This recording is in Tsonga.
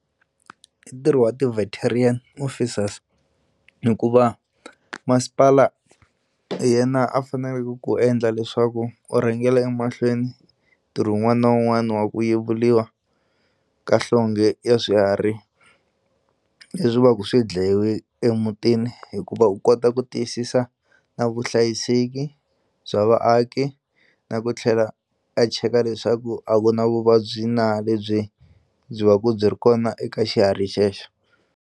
I ntirho wa officers hikuva masipala hi yena a faneleke ku endla leswaku u rhangela emahlweni ntirho wun'wana na wun'wana wa ku yevuriwa ka nhlonge ya swiharhi leswi va ku swi dlayiwe emutini hikuva u kota ku tiyisisa na vuhlayiseki bya vaaki na ku tlhela a cheka leswaku a ku na vuvabyi na lebyi byi va ku byi ri kona eka xihari xexo.